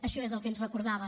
això és el que ens recordava